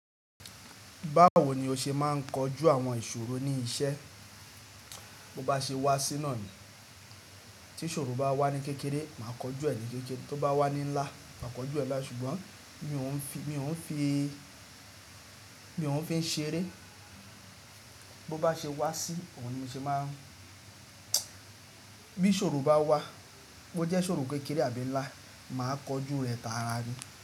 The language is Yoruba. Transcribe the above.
Báwo ni o ṣe máa ń kojú àwọn ìṣòro ní iṣẹ́? Bo bá ṣe wá sí náà ni. Tí ìṣòro bá wà ní kékeré, màá kojú ẹ ní kékeré. Tó bá wà ní ńlá, màá kojú ẹ lái. Ṣùgbọ́n mi ò n fi, mi ò n fi, mi ò n fi ń ṣe eré. Bo bá ṣe wá sí, òhún ni mi ṣe maá n. Bí ìṣòro bá wà, bo jẹ́ ìṣòro kékeré àbí ńlá, màá kojú rẹ tààràrí.